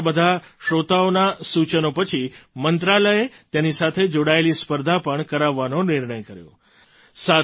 તમારા બધા શ્રોતાઓના સૂચનો પછી મંત્રાલયે તેની સાથે જોડાયેલી સ્પર્ધા પણ કરાવવાનો નિર્ણય કર્યો છે